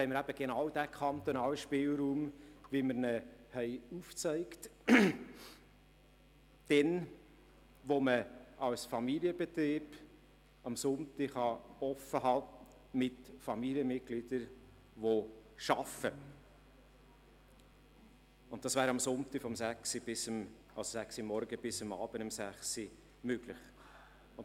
Wir haben noch den kantonalen Spielraum, den wir aufgezeigt haben: Familienbetriebe, in denen am Sonntag Familienmitglieder arbeiten, können am Sonntag ihr Geschäft von sechs am Morgen bis um sechs am Abend öffnen.